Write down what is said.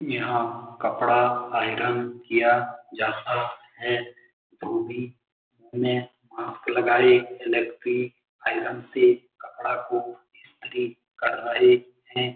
यहाँ कपड़ा आयरन किया जाता है धोबी में मास्क लगाई आयरन से कपड़ा को इस्त्री कर रहे हैं।